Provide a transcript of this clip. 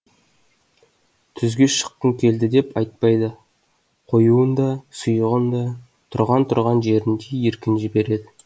түзге шыққым келді деп айтпайды қоюын да сұйығын да тұрған тұрған жерінде еркін жібереді